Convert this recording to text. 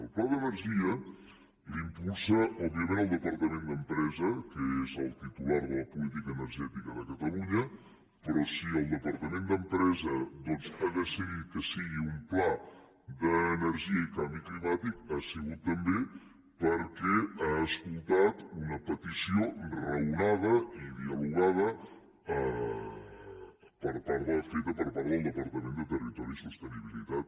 el pla d’energia l’impulsa òbviament el departament d’empresa que és el titular de la política energètica de catalunya però si el departament d’empresa ha decidit que sigui un pla d’energia i de canvi climàtic ha sigut també perquè ha escoltat una petició raonada i dialogada feta per part del departament de territori i sostenibilitat